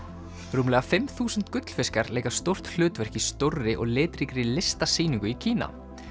rúmlega fimm þúsund gullfiskar leika stórt hlutverk í stórri og litríkri listasýningu í Kína